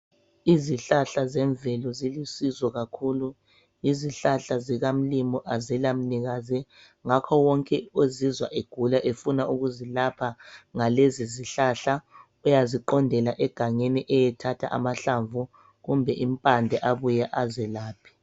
Izihlahla zemvelo zilusizo kakhulu izihlahla zikaMlimu azila mnikazi ngakho wonke ozizwa egula sefuna ukuzilapha uyaqondela egangeni ayethatha amahlamvu kumbe impande abuye azelaphe